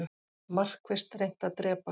Markvisst reynt að drepa